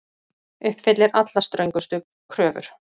Uppfyllir allra ströngustu kröfur